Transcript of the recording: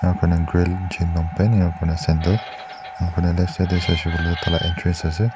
jan long pant ya kena sendal interest ase.